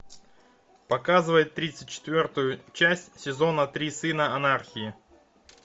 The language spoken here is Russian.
показывай тридцать четвертую часть сезона три сыны анархии